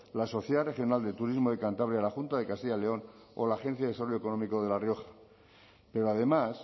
la sociedad regional de turismo de cantabria la junta de castilla león o la agencia de desarrollo económico de la rioja pero además